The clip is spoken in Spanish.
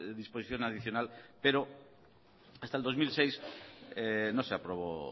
disposición adicional pero hasta el dos mil seis no se aprobó